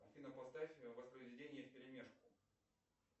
афина поставь воспроизведение вперемешку